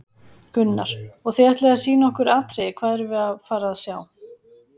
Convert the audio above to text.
Gunnar: Og þið ætlið að sýna okkur atriði, hvað erum við að fara að sjá?